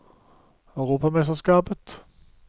europamesterskapet